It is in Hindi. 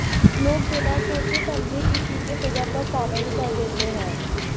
लोग बिना सोचे समझे किसी के फिगर पर कमेंट कर देते हैं